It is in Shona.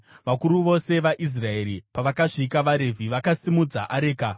Vakuru vose vaIsraeri pavakasvika, vaRevhi vakasimudza areka,